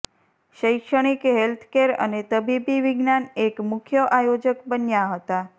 શૈક્ષણિક હેલ્થકેર અને તબીબી વિજ્ઞાન એક મુખ્ય આયોજક બન્યા હતા